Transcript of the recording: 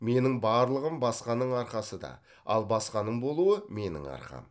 менің барлығым басқаның арқасы да ал басқаның болуы менің арқам